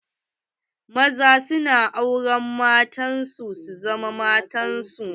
Maza na auren mata su zama matar su.